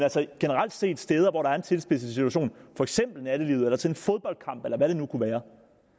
generelt set steder hvor der er en tilspidset situation for eksempel i nattelivet eller til en fodboldkamp eller hvad det nu kunne være